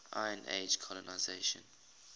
iron age colonisation